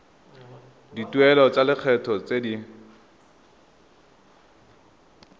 dituelo tsa lekgetho tse di